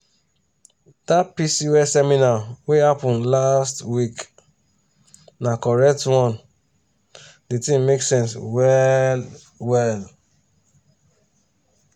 dat pcos seminar wey happen last week na correct one di thing make sense well well.